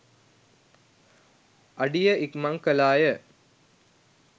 අඩිය ඉක්මන් කලාය.